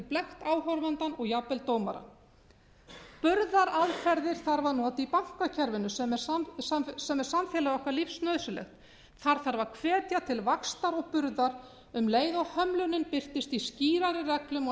blekkt áhorfandann og jafnvel dómarann burðaraðferðir þarf að nota í bankakerfið sem er samfélagi okkar lífsnauðsynlegt þar þarf að hvetja til vaxtar og burðar um leið og hömlunin birtist í skýrari reglum og